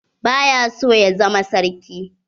Ba ya so ya zama sarki.